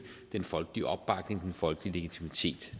den folkelige opbakning den folkelige legitimitet